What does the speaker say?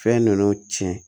Fɛn ninnu tiɲɛ